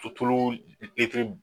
Tu tuluu litiri